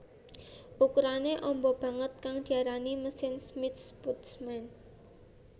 Ukurané amba banget kang diarani mesin Smith Putman